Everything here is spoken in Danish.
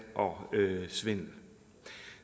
og svindel